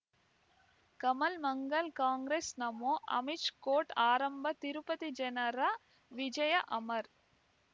Kamal Mangal Congress Namo Amish court ಆರಂಭ ತಿರುಪತಿ ಜನರ ವಿಜಯ ಅಮರ್